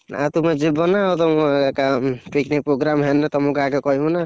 ଆ ତୁମେ ଯିବ ନା ତମେ ଏକା picnic program ହେଲେ ତମକୁ ଆଗେ କହିବୁ ନା।